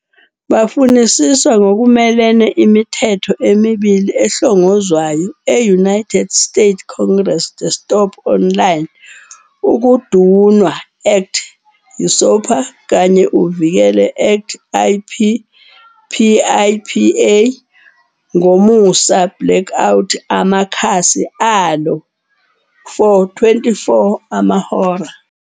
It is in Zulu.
Bafunisiswa ngokumelene imithetho emibili ehlongozwayo e-United States Congress-the Stop Online ukudunwa Act, uSopa, kanye uvikele Act IP, PIPA, -ngomusa blacking out amakhasi alo for 24 amahora.